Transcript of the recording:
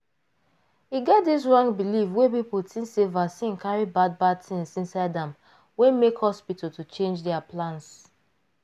e get dis wrong believe wey people think sey vaccine carry bad bad things inside amwey make hospital to change their plans.